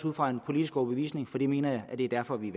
ud fra en politisk overbevisning for jeg mener at det er derfor vi